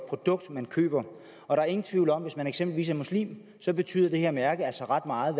produkt man køber der er ingen tvivl om at hvis man eksempelvis er muslim så betyder det her mærke altså ret meget